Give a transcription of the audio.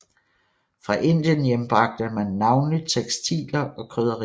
Fra Indien hjembragte man navnlig tekstiler og krydderier